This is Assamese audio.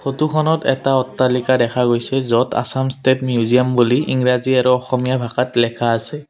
ফটোখনত এটা অট্টালিকা দেখা গৈছে য'ত আছাম ষ্টেট মিউজিয়াম বুলি ইংৰাজী আৰু অসমীয়া ভাষাত লেখা আছে।